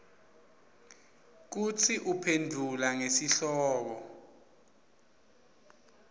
kutsi uphendvula ngesihloko